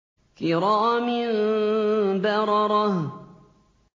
كِرَامٍ بَرَرَةٍ